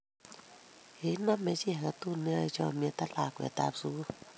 Kinamei chi age tugul ne yoe chamyet ak lakwetab sugul